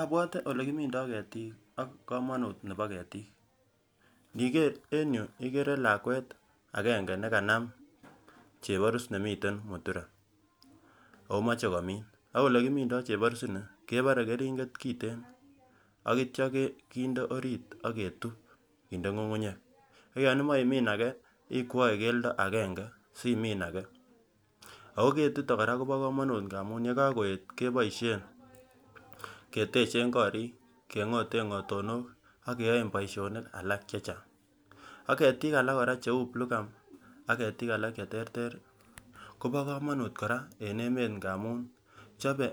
Abwote olekimindoo ketiik ak komonut nebo ketiik, iniker en yuu ikere lakwet agenge nekanam cheborus nemiten mutura ako moche komin. Ak olekimindoo cheborus inii kebole keringet kiten akitya kinde oriit aketuup kinde ngungunyek ak yan imoche imin ake ikwoe keldo agenge asimiin ake ako ketito kora kobo komonut amun yekakoyet keboisyen ketechen koriik, kengoten ngotonok ak keyoen boisyonik alak chechang. Ak ketiik alak kora cheu bluegum ak ketiik alak cheterter kobo komonut kora eng emet amun chobe